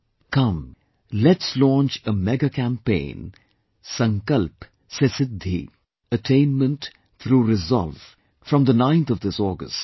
Come let's launch a mega campaign Sankalp se Siddhi Attainment through Resolve, from the 9th of this August